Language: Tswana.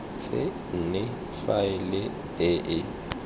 se nne faele e e